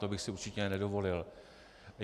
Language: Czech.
To bych si určitě nedovolil.